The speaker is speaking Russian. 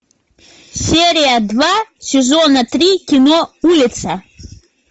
серия два сезона три кино улица